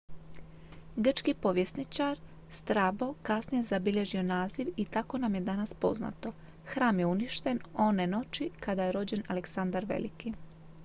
grčki povjesničak strabo kasnije je zabilježio naziv i tako nam je danas poznato hram je uništen one noći kada je rođen aleksandar veliki